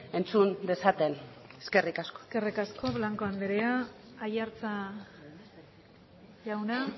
entzun dezaten eskerrik asko eskerrik asko blanco andrea aiartza jauna